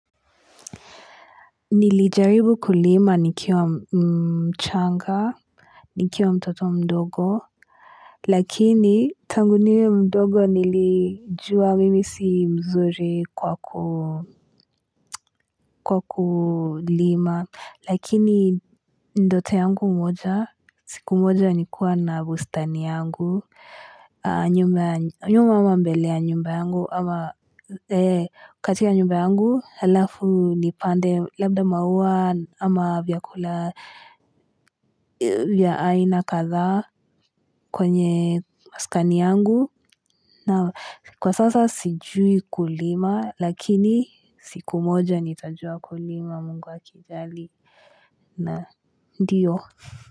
Nilijaribu kulima nikiwa mchanga, nikiwa mtoto mdogo, lakini tangu niwe mdogo nilijua mimi si mzuri kwaku kwa kulima, lakini ndoto yangu mmoja, siku mmoja nikua na bustani yangu, nyuma ama mbele ya nyumba yangu, ama katika nyumba yangu halafu nipande labda maua ama vyakula vya aina kadhaa kwenye maskani yangu na kwa sasa sijui kulima lakini siku moja nitajua kulima Mungu akijali na ndiyo.